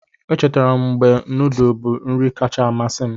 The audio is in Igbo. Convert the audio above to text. Echetara m mgbe nudu bụ nri kacha amasị m.